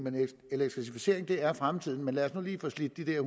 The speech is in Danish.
elektrificering er fremtiden men lad os nu lige få slidt de der